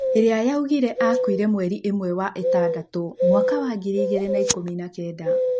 ĩrĩa yaugire akuire mweri ĩmwe wa ĩtandatũmwaka wa ngiri igĩrĩ na ikũmi na kenda.